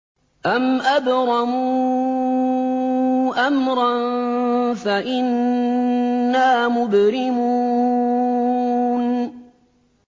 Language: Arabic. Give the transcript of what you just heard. أَمْ أَبْرَمُوا أَمْرًا فَإِنَّا مُبْرِمُونَ